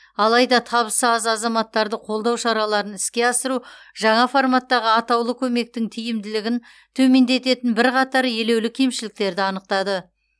алайда табысы аз азаматтарды қолдау шараларын іске асыру жаңа форматтағы атаулы көмектің тиімділігін төмендететін бірқатар елеулі кемшіліктерді анықтады